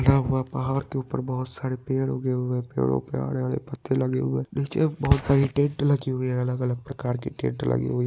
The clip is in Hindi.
यहाँ वहाँ पहाड़ के उपर बहुत सारे पेड़ उगे हुए है। पेड़ों पे आड़े आड़े पत्ते लागी हुए है। निचे बहुत सारी टेंट लगी हुई है। अलग-अलग प्रकार की टेंट लगी हुई--